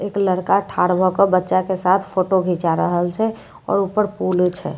एक लड़का ठाड़ भए कए बच्चा के साथ फोट घींचा रहल छे आओर ऊपर पुल छे।